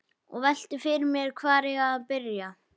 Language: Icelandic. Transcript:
Og velti fyrir mér hvar eigi að byrja.